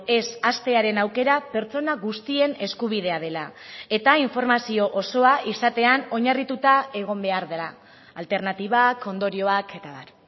ez hastearen aukera pertsona guztien eskubidea dela eta informazio osoa izatean oinarrituta egon behar dela alternatibak ondorioak eta abar